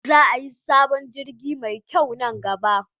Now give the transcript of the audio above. Za ayi sabon jirgi me kyau nan gaba